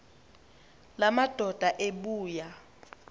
la madoda ebuya